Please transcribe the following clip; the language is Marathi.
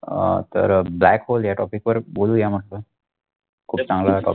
अहं तर black hole या topic वर बोलूया म्हटलं